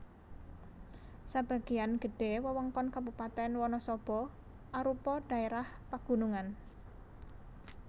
Sebagéan gedhé wewengkon Kabupatèn Wanasaba arupa dhaérah pagunungan